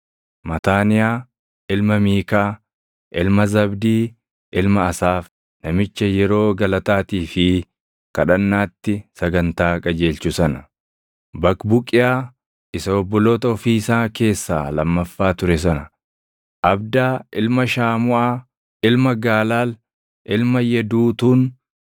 Mataaniyaa ilma Miikaa, ilma Zabdii, ilma Asaaf, namicha yeroo galataatii fi kadhannaatti sagantaa qajeelchu sana; Baqbuqiyaa isa obboloota ofii isaa keessaa lammaffaa ture sana; Abdaa ilma Shamuuʼaa, ilma Gaalaal, ilma Yeduutuun.